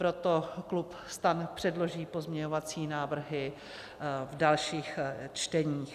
Proto klub STAN předloží pozměňovací návrhy v dalších čteních.